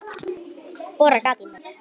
Borar gat í mig.